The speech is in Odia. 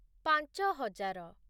ପାଞ୍ଚ ହଜାର